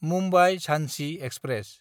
मुम्बाइ–झानसि express